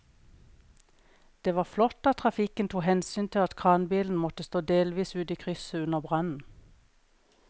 Det var flott at trafikken tok hensyn til at kranbilen måtte stå delvis ute i krysset under brannen.